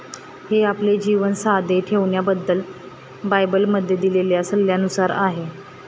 हे, आपले जीवन साधे ठेवण्याबद्दल बायबलमध्ये दिलेल्या सल्ल्यानुसार आहे.